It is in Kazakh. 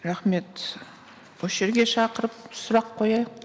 рахмет осы жерге шақырып сұрақ қояйық